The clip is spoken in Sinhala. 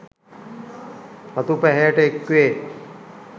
රතු පැහැයට එක්වේ